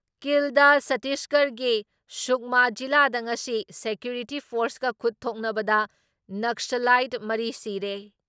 ꯀꯤꯜꯗ ꯁꯇꯤꯁꯒꯔꯒꯤ ꯁꯨꯛꯃꯥ ꯖꯤꯂꯥꯗ ꯉꯁꯤ ꯁꯦꯀ꯭ꯌꯨꯔꯤꯇꯤ ꯐꯣꯔꯁꯀ ꯈꯨꯠ ꯊꯣꯛꯅꯕꯗ ꯅꯛꯁꯂꯥꯏꯠ ꯃꯔꯤ ꯁꯤꯔꯦ ꯫